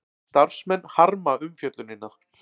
Starfsmenn harma umfjöllunina